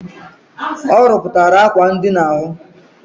Ọ rụpụtara akwa ndina ahụ.